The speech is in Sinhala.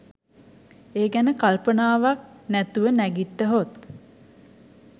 ඒ ගැන කල්පනාවක් නැතුව නැගිට්ටහොත්